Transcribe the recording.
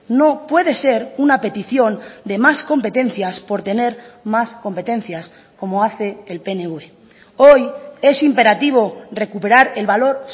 no puede ser una petición de más competencias por tener más competencias como hace el pnv hoy es imperativo recuperar el valor